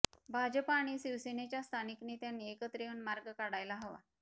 भाजप आणि शिवसेनेच्या स्थानिक नेत्यांनी एकत्र येऊन मार्ग काढायला हवा